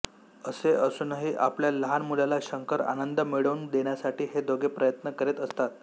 असे असूनही आपल्या लहान मुलाला शंकर आनंद मिळवून देण्यासाठी हे दोघे प्रयत्न करीत असतात